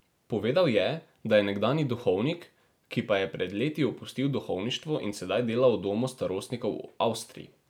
Povedal je, da je nekdanji duhovnik, ki pa je pred leti opustil duhovništvo in sedaj dela v domu starostnikov v Avstriji.